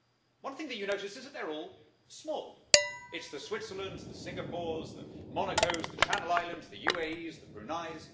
One thing you notice is that they are all small it's the Switzerlands, the Singapores, the Monacos, the Channel Islands, the UAEs, the Bruneis.